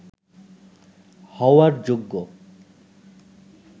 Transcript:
হওয়ার যোগ্য